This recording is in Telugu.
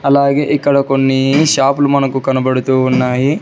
అలాగే ఇక్కడ కొన్ని షాపులు మనకు కనబడుతూ ఉన్నాయి.